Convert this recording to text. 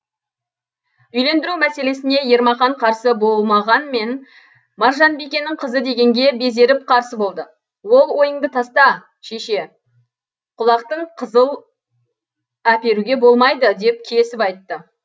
үйлендіру мәселесіне ермақан қарсы болмағанмен маржанбикенің қызы дегенге безеріп қарсы болды ол ойыңды таста шеше құлақтың қызыл әперуге болмайды деп кесіп айтты